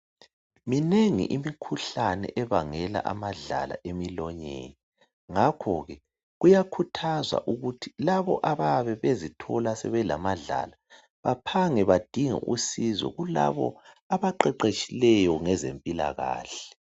Minengi imikhuhlane ebangela amadlala emilonyeni. Ngakho ke, kuyakhuthazwa ukuthi labo abayabe bezithola sebelamadlala, baphange badinge usizo kulabo abaqeqeshileyo ngezempilakahle.